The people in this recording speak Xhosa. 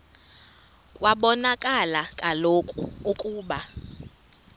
kwabonakala kaloku ukuba